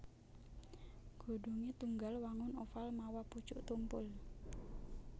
Godhongé tunggal wangun oval mawa pucuk tumpul